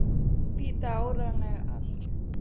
Vita áreiðanlega allt.